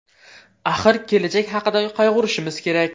Axir kelajak haqida qayg‘urishimiz kerak.